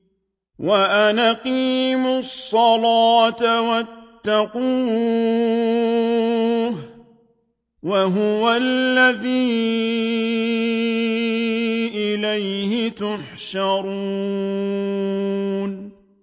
وَأَنْ أَقِيمُوا الصَّلَاةَ وَاتَّقُوهُ ۚ وَهُوَ الَّذِي إِلَيْهِ تُحْشَرُونَ